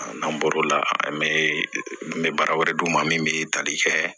N'an bɔr'o la an bɛ n bɛ baara wɛrɛ d'u ma min bɛ tali kɛ